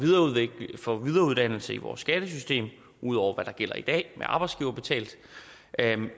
for videreuddannelse i vores skattesystem ud over hvad der gælder i dag det arbejdsgiverbetalte